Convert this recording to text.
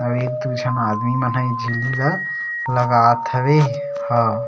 अऊ एक दो झीन आदमी मन ह ए झिल्ली ल लगावत हवे ह--